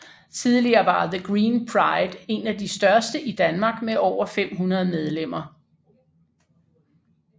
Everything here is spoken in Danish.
Tidligere var The Green Pride en af de største i Danmark med over 500 medlemmer